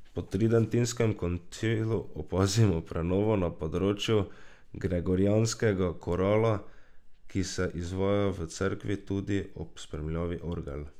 Po Tridentinskem koncilu opazimo prenovo na področju gregorijanskega korala, ki se izvaja v cerkvi tudi ob spremljavi orgel.